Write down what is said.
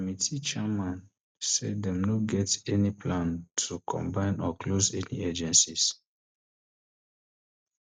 di um committee chairman say dem no um get any plans to combine or close any of di agencies